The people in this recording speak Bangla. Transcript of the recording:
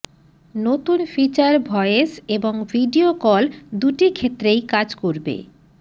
নতুন ফিচার ভয়েস এবং ভিডিও কল দুটি ক্ষেত্রেই কাজ করবে